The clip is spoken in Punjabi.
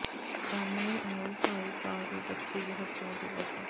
ਸਾਹਮਣੇ ਆਈ ਢਾਈ ਸਾਲ ਦੀ ਬੱਚੀ ਦੀ ਹੱਤਿਆ ਦੀ ਵਜ੍ਹਾ